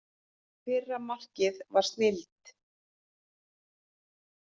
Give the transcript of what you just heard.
Fyrra markið var snilld.